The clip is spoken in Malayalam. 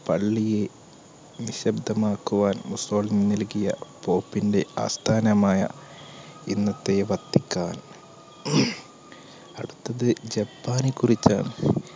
പള്ളിയെ നിഷിദ്ധമാക്കുവാൻ മുസോളിനി നൽകിയ pope ന്റെ ആസ്ഥാനമായ ഇന്നത്തെ vatican